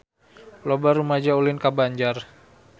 Loba rumaja ulin ka Banjar